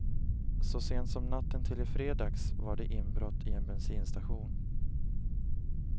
Så sent som natten till i fredags var det inbrott i en bensinstation.